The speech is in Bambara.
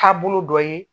Taabolo dɔ ye